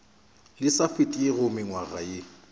le sa fetego mengwaga ye